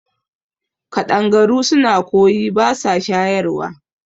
Kaɗangaru suna kwoyi basa shayarwa